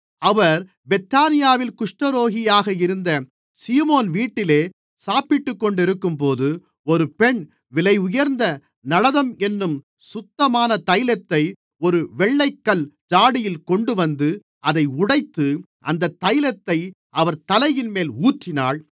அவர் பெத்தானியாவில் குஷ்டரோகியாக இருந்த சீமோன் வீட்டிலே சாப்பிட்டுக்கொண்டிருக்கும்போது ஒரு பெண் விலையுயர்ந்த நளதம் என்னும் சுத்தமான தைலத்தை ஒரு வெள்ளைக்கல் ஜாடியில் கொண்டுவந்து அதை உடைத்து அந்தத் தைலத்தை அவர் தலையின்மேல் ஊற்றினாள்